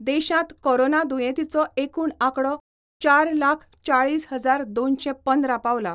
देशांत कोरोना दुयेंतीचो एकूण आंकडो चार लाख चाळीस हजार दोनशे पंदरा पावलां.